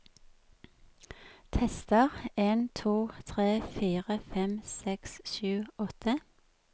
Tester en to tre fire fem seks sju åtte